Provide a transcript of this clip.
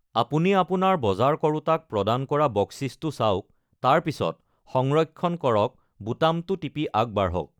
আপুনি আপোনাৰ বজাৰ কৰোঁতাক প্ৰদান কৰা বকছিছটো চাওক, তাৰ পিছত সংৰক্ষণ কৰক বুটামটো টিপি আগবাঢ়ক।